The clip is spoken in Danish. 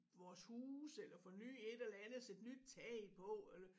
Vores huse eller forny et eller andet sætte nyt tag på eller